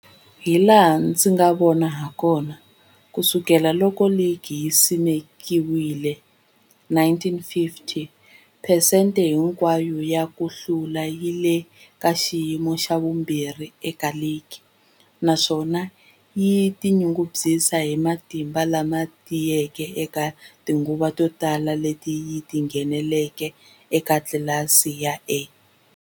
Hilaha ndzi nga vona hakona, ku sukela loko ligi yi simekiwile, 1950, phesente hinkwayo ya ku hlula yi le ka xiyimo xa vumbirhi eka ligi, naswona yi tinyungubyisa hi matimba lama tiyeke eka tinguva to tala leti yi ngheneke eka tlilasi ya A.